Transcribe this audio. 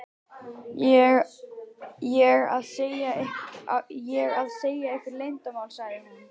ég að segja ykkur leyndarmál? sagði hún.